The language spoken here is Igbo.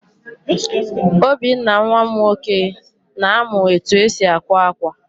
Obinna nwa m nwoke, na-amụ etu esi àkwá ákwà.